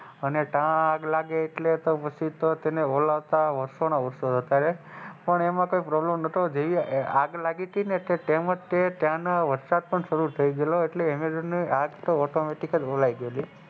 અને તો આગ લાગે પછી તો તેને ઓળાવતા વર્ષો ના વર્ષો જતા રહે પણ એમાં કઈ problem નહોતો પણ આગળ જય્યે ત્યારે તેમજ તે ત્યાંનો વરસાદ પ શરુ થાય ગયેલો એટલે એમેઝોન ની આગ તો ઑટોમૅટિક જ ઓલાય ગયેલી.